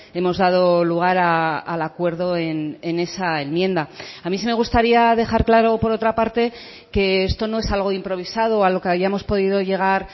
hemos dado lugar al acuerdo en esa enmienda a mí sí me gustaría dejar claro por otra parte que esto no es algo improvisado a lo que hayamos podido llegar